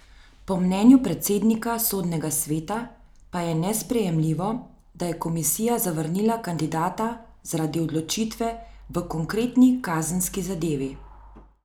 Po mnenju predsednika Sodnega sveta pa je nesprejemljivo, da je komisija zavrnila kandidata zaradi odločitve v konkretni kazenski zadevi.